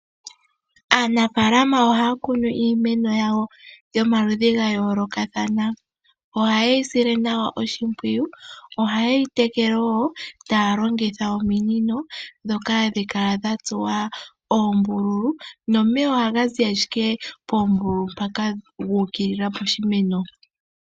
Aanafaalama ohaya kunu iimeno yawo yomaludhi ga yoolokathana. Ohayeyi sile nawa oshimpwiyu . Ohaye yi tekele wo taya longitha ominino, ndhoka hadhi kala dhatsuwa oombululu, nomeya ohaga zi ashike poombululu guukilila piimeno.